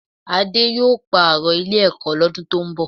Adé yóò pààrọ̀ Ilé-ẹ̀kọ́ lọ́dún tó ń bọ̀